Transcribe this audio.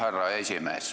Härra esimees!